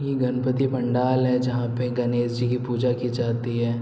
इ गणपति पंडाल है जहाँ पे गणेश जी की पूजा की जाती है।